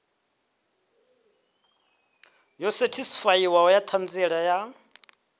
yo sethifaiwaho ya ṱhanziela ya